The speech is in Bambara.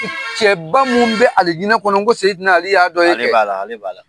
Cɛba minnu bɛ alijina kɔnɔ ko sedina ali y'a dɔ ye kɛ ale b'ala ale b'a la